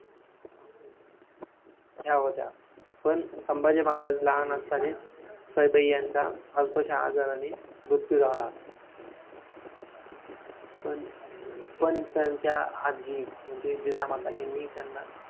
बायका चपातीसाठी बाई एखादी लावली तर ती करेल ना शंभर दोनशे रुपये देऊन दिवसाला. main चपात्याचा असतं भात कालवायचं आणि शिजून जातात पीठ मळा चपाती लाटा भाज्या करा हेच असतं एखाद्या बाईला लावून देऊ.